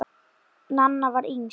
Nanna var yngst.